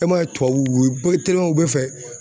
E ma ye tubabu u bɛɛ fɛ